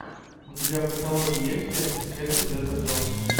у тебя в каталоге есть лента с кэтрин зета джонс